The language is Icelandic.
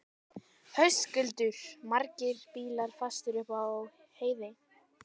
Höskuldur: Margir bílar fastir upp á heiði?